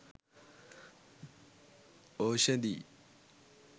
oshadi